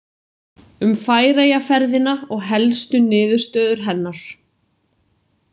Um Færeyjaferðina og helstu niðurstöður hennar.